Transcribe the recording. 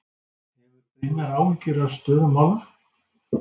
Hefur Brynjar áhyggjur af stöðu mála?